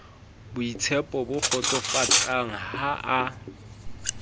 boitshepo bo kgotsofatsang ha a